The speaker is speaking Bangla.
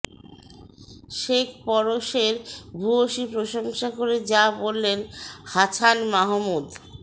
শেখ পরশের ভূয়সী প্রশংসা করে যা বললেন হাছান মাহমুদ